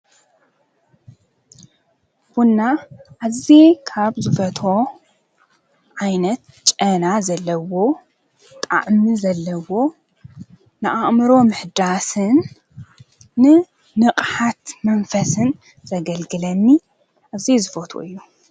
ቡንና እዚ ካብ ዙፈቶ ኣይነት ጨና ዘለዎ ጣእሚ ዘለዎ ንኣእምሮ ምሕዳስን ን ንቕሓት መንፈስን ዘገልግለኒ እዚይ ዝፈት እዩ።